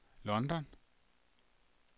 London